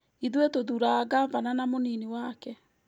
Ithuĩ tũthuuraga ngabana na mũnini wake